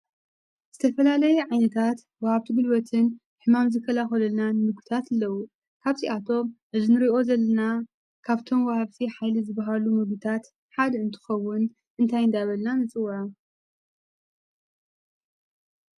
ዝተፈላለይ ዓይንታት ወሃብቲ ጉልበትን ሕማም ዝከላከሉልናን ምግብታት ኣለዉ። ካብዚ ኣቶም እዚ እንርኦዮ ዘለና ካብቶም ወሃብቲ ሃይሊ ዝበሃሉ ምግብታት ሓድ እንትኸውን እንታይ እንዳበልና ንጽውዖ?